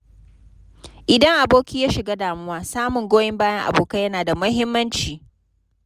Idan aboki ya shiga damuwa, samun goyon bayan abokai yana da muhimmanci.